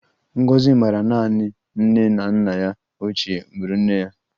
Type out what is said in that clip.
Ngozi maara naanị nne na nna ya ochie muru nne ya